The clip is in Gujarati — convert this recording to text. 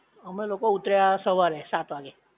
અમે લોકો ઊતર્યા સવારે સાત વાગે